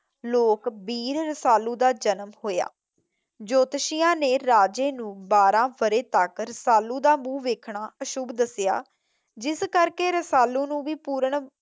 ਲੋਕਬੀਰ ਰਸਾਲੂ ਦਾ ਜਨਮ ਹੋਇਆ। ਜੋਤਿਸ਼ੀਆ ਨੇ ਰਾਜੇ ਨੂੰ ਬਾਰ੍ਹਾਂ ਬਰੇ ਤੱਕ ਰਸਾਲੂ ਦਾ ਮੁੱਖ ਵੇਖਣਾ ਅਸ਼ੂਭ ਦੱਸਿਆ ਜਿਸ ਕਰਕੇ ਰਸਾਲੂ ਨੂੰ ਵੀ ਪੁਰਨ